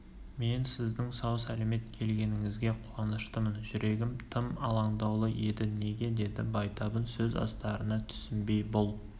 мен сіздің сау-сәлемет келгеніңізге қуаныштымын жүрегім тым алаңдаулы еді неге деді байтабын сөз астарына түсінбей бұл